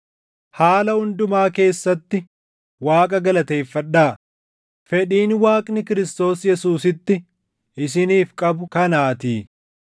Haala hundumaa keessatti Waaqa galateeffadhaa; fedhiin Waaqni Kiristoos Yesuusitti isiniif qabu kanaatii.